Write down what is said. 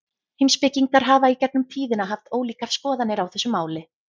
Heimspekingar hafa í gegnum tíðina haft ólíkar skoðanir á þessu máli.